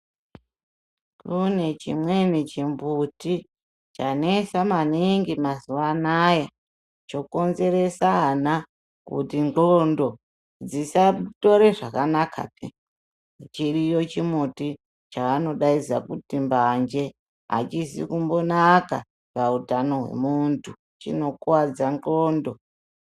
Kune chimweni chimbuti chanesa maningi mazuva anaya chokonzeresa ana kuti ndxondo dzisatore zvakanaka kudai. Chiriyo chimbuti chavanodaidza kuti mbanje, hachizi kumbonaka pautano hwomuntu, chinokudza ndxondo.